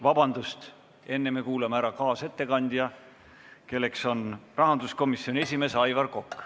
Vabandust, enne kuulame ära kaasettekandja, kelleks on rahanduskomisjoni esimees Aivar Kokk.